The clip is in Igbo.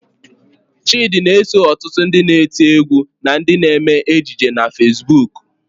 Chịdị na-eso ọtụtụ ndị na-eti égwú na ndị na-eme ejije na Fesbuk.